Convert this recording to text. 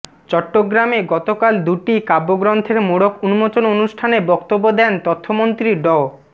চট্টগ্রামে গতকাল দুটি কাব্যগ্রন্থের মোড়ক উন্মোচন অনুষ্ঠানে বক্তব্য দেন তথ্যমন্ত্রী ড